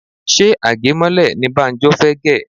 Ṣé age mọ́lẹ̀ ní Banjo fẹ gè?